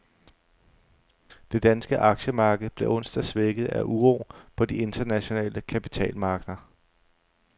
Det danske aktiemarked blev onsdag svækket af uro på de internationale kapitalmarkeder.